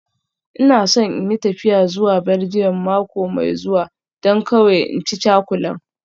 Ina so in yi tafiya zuwa Belgium mako mai zuwa, don kawai in ci cakulan